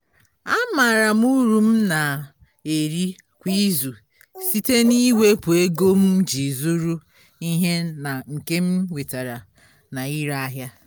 amaara m uru m na-eri kwa izu site n'iwepu ego m ji zụrụ ihe na nke m nwetara na-ire ahịa.